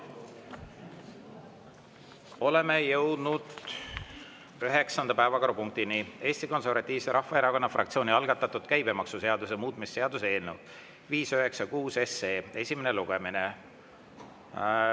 Oleme jõudnud üheksanda päevakorrapunktini, Eesti Konservatiivse Rahvaerakonna fraktsiooni algatatud käibemaksuseaduse muutmise seaduse eelnõu 596 esimene lugemine.